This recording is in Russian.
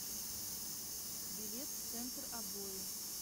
билет центр обои